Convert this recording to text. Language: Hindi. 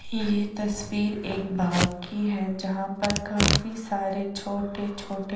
यहाँ एक तस्वीर एक भाग की है जहा पर काफी सारे छोटे छोटे --